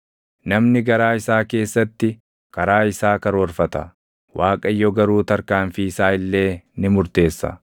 Namni garaa isaa keessatti karaa isaa karoorfata; Waaqayyo garuu tarkaanfii isaa illee ni murteessa.